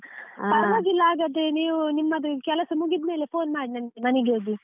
ಹಾಗಾದ್ರೆ ನೀವು ನಿಮ್ಮದು ಕೆಲಸ ಮುಗಿದ್ಮೇಲೆ phone ಮಾಡಿ ನಂಗೆ ಮನೆಗೆ ಹೋಗಿ.